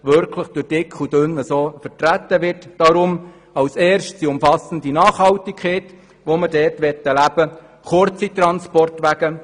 Als erstes soll umfassender Nachhaltigkeit grosse Beachtung geschenkt werden, und wir wünschen kurze Transportwege.